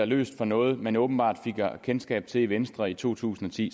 løsning på noget man åbenbart fik kendskab til i venstre i to tusind og ti